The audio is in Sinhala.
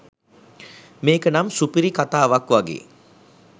මේකනම් සුපිරි කතාවක් වගේ